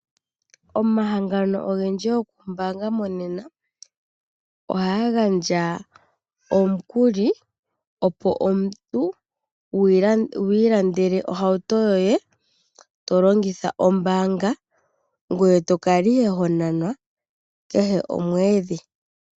Omahangano ogendji gokumbaanga monena ohaga gandja omukuli, opo omuntu wu ilandele ohauto yoye to longitha ombaanga ngoye to kala ihe ho nanwa kehe komwedhi.